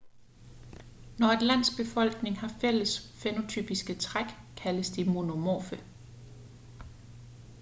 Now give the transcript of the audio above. når et lands befolkning har fælles fænotypiske træk kaldes de monomorfe